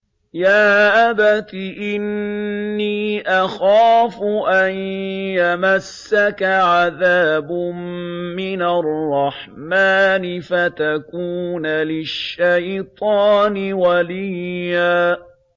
يَا أَبَتِ إِنِّي أَخَافُ أَن يَمَسَّكَ عَذَابٌ مِّنَ الرَّحْمَٰنِ فَتَكُونَ لِلشَّيْطَانِ وَلِيًّا